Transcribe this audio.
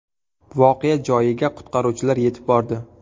Voqea joyiga qutqaruvchilar yetib bordi.